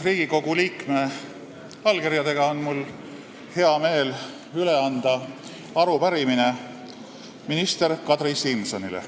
Mul on hea meel anda üle 13 Riigikogu liikme allkirjaga arupärimine minister Kadri Simsonile.